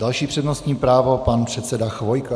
Další přednostní právo pan předseda Chvojka.